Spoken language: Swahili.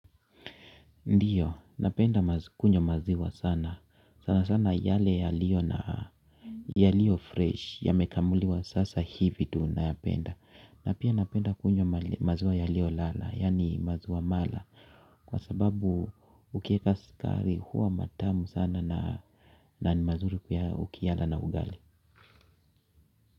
Ndiyo, napenda kunywa maziwa sana. Sana sana yale yaliyo na yaliyo fresh yamekamuliwa sasa hivi tunayapenda. Na pia napenda kunywa maziwa yaliyo lala, yani maziwa mala. Kwa sababu ukieka sukari huwa matamu sana na ni mazuri ukiyala na ugali.